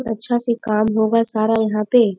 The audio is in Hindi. अच्छा से काम होगा सारा यहाँ पे।